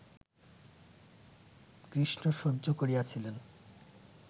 কৃষ্ণ সহ্য করিয়াছিলেন